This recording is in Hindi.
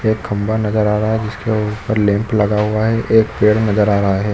एक खम्बा नज़र आ रहा है उसके ऊपर लैंप लगा हुआ है एक पेड़ नज़र आ रहा है।